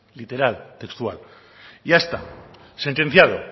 literal textual ya está sentenciado